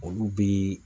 Olu bɛ